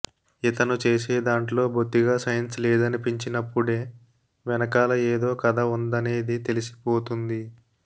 ఇతను చేసేదాంట్లో బొత్తిగా సెన్స్ లేదనిపించినప్పుడే వెనకాల ఏదో కథ ఉందనేది తెలిసిపోతుంది